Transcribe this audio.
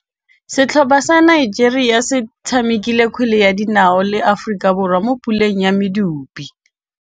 Setlhopha sa Nigeria se tshamekile kgwele ya dinaô le Aforika Borwa mo puleng ya medupe.